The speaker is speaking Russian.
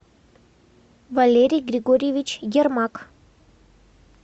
валерий григорьевич ермак